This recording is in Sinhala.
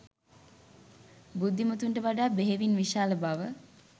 බුද්ධිමතුන්ට වඩා බෙහෙවින් විශාල බව